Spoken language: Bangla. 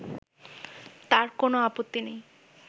তার কোনো আপত্তি নেই